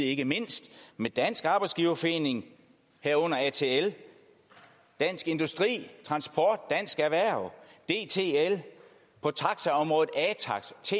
ikke mindst dansk arbejdsgiverforening herunder atl dansk industri dansk erhverv dtl på taxaområdet atax ta